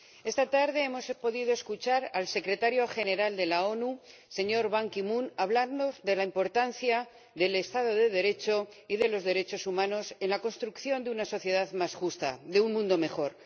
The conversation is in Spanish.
Señor Presidente, esta tarde hemos podido escuchar al Secretario General de las Naciones Unidas, Ban Ki moon, hablando de la importancia del Estado de Derecho y de los derechos humanos en la construcción de una sociedad más justa, de un mundo mejor.